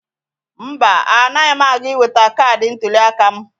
Mba, anaghị m aga iweta kaadị ntụliaka m.